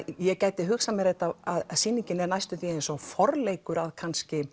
ég gæti hugsað mér þetta sýningin er næstum því eins og forleikur að kannski